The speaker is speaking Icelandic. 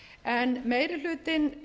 en meiri hlutinn